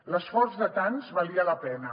l’esforç de tants valia la pena